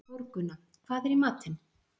Þórgunna, hvað er í matinn?